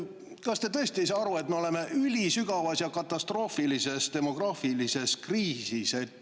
Kas te tõesti ei saa aru, et me oleme ülisügavas ja katastroofilises demograafilises kriisis?